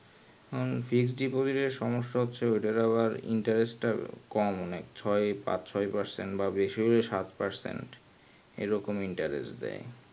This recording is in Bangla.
আহ fixed deposit এর সমস্যা হচ্ছে ওদের আবার ইন্টেরেস্ট টা কম ছয় পাঁচ ছয় percent বেশি হলে সাত percent এই রকম interest দেয়